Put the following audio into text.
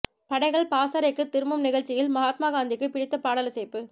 படைகள் பாசறைக்குத் திரும்பும் நிகழ்ச்சியில் மகாத்மா காந்திக்குப் பிடித்த பாடல் இசைப்பு